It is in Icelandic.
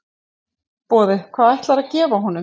Boði: Hvað ætlarðu að gefa honum?